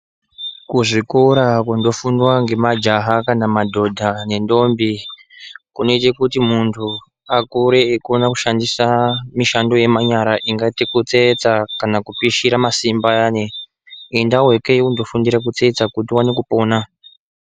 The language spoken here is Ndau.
Kuzvikora kunofundwa ngema jaha kanamadhodha nendombi, kunoita kuti mundu akure eikona kushandisa mishando yemanyara ingati kutsetsa kana kupishira masimbi ayani endawo ikweyo undofundira kutsetsa kutiuone kupona.